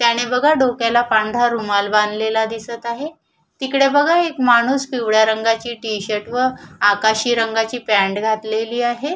त्याने बघा डोक्याला पांढरा रुमाल बांधलेला दिसत आहे तिकडे बघा एक माणूस पिवळ्या रंगाची टि-शर्ट व आकाशी रंगाची पँट घातलेली आहे.